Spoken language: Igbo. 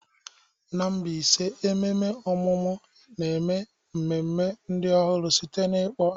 N'Mbaise ememe ọmụmụ na-eme mmemme ndụ ọhụrụ site na ịkpọ aha.